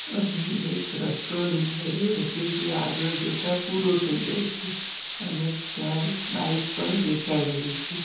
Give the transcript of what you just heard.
અહીં એક રસ્તો દેખાઈ રહ્યો છે જે આગળ જતા પૂરો થઈ જાય છે અને ત્યાં એક બાઈક પણ દેખાઈ રહી છે.